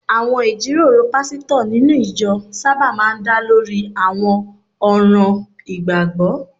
Àwọn ìjíròrò pásítọ̀ nínú ìjọ sábà máa ń dá lórí àwọn ọ̀ràn ìgbàgbọ́